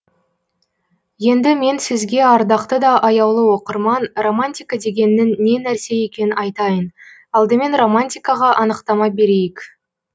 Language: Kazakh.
енді мен сізге ардақты да аяулы оқырман романтика дегеннің не нәрсе екенін айтайын алдымен романтикаға анықтама берейік